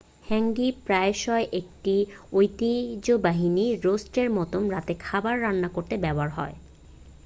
হ্যাঙ্গি প্রায়শই একটি ঐতিহ্যবাহী রোস্টের মতো রাতের খাবার রান্না করতে ব্যবহৃত হয়